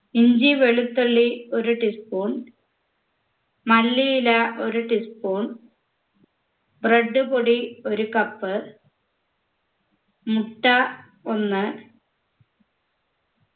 ഇഞ്ചി വെളുത്തുള്ളി ഒരു tea spoon മല്ലിയില ഒരു tea spoon bread പൊടി ഒരു cup മുട്ട ഒന്ന്